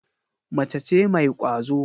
Mace ce mai kwazo.